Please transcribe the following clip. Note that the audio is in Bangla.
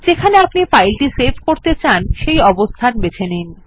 যেখানে আপনি ফাইলটি সেভ করেত চান সেই অবস্থান বেছে নিন